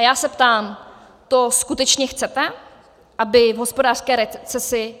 A já se ptám: To skutečně chcete, aby v hospodářské recesi